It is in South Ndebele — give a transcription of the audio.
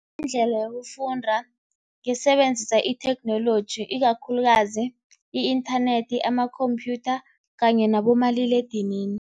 Indlela yokufunda ngisebenzisa itheknoloji ikakhulukazi i-inthanethi, amakhomphyutha kanye nabomaliledinini.